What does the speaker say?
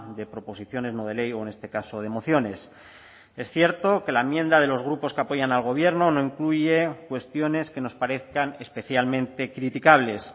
de proposiciones no de ley o en este caso de mociones es cierto que la enmienda de los grupos que apoyan al gobierno no incluye cuestiones que nos parezcan especialmente criticables